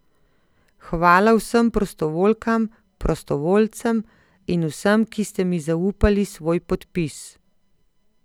Hvala vsem prostovoljkam, prostovoljcem in vsem, ki ste mi zaupali svoj podpis!